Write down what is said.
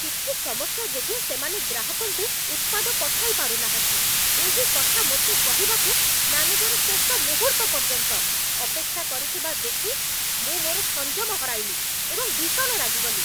କିଛି ସମସ୍ୟା ଯୋଗୁଁ ସେମାନେ ଗ୍ରାହକଙ୍କୁ ଉତ୍ପାଦ ପଠାଇ ପାରୁନାହାନ୍ତି, ଏହି କଥା ମୋତେ କହିବାକୁ ମ୍ୟାନେଜର ଶେଷ ମୁହୂର୍ତ୍ତ ପର୍ଯ୍ୟନ୍ତ ଅପେକ୍ଷା କରିଥିବା ଦେଖି ମୁଁ ମୋର ସଂଯମ ହରାଇଲି ଏବଂ ଭୀଷଣ ରାଗିଗଲି।